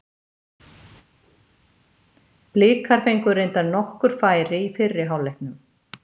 Blikar fengu reyndar nokkur færi í fyrri hálfleiknum.